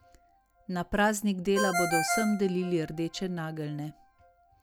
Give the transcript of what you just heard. Na praznik dela bodo vsem delili rdeče nageljne.